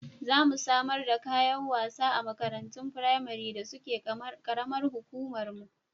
Za mu samar da kayan wasa a makarantun firamari da suke ƙaramar hukumarmu.